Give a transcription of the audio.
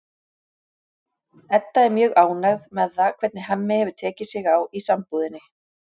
Edda er mjög ánægð með það hvernig Hemmi hefur tekið sig á í sambúðinni.